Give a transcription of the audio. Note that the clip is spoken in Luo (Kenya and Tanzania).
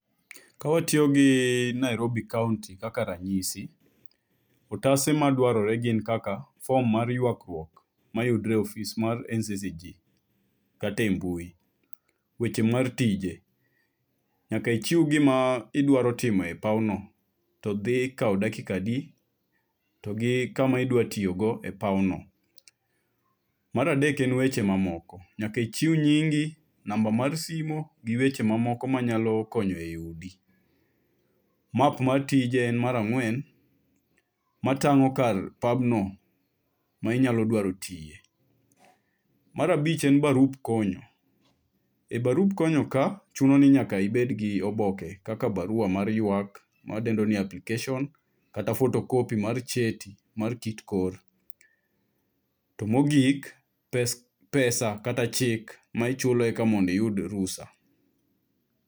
Kawatiyo gi Nairobi kaonti kaka ranyisi otase madwarore gin kaka fom mar yuagruok mayudre e ofis mar NCC kata e mbui, weche mar tije nyaka ichiw gima idwaro timo e pawno, to dhi kawo dakika adi, to gi kama idwa tiyogo e pawno, Mar adek en weche mamoko nyaka ichiw nyingi, namba mar simo gi weche mamoko manyalo konyo eyudi. Mar ang'wen matang'o kar pabno ma inyalo idwaro tiye. Mar abich en barup konyo. E barup konyo ka chuno ni nyaka ibed kod oboke kaka baruwa mar ywak ma wadendo ni application kata kopi mar cheti. To mogik pesa kata chik ma chulo eka mondo iyud rusa.